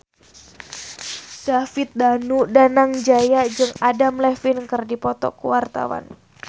David Danu Danangjaya jeung Adam Levine keur dipoto ku wartawan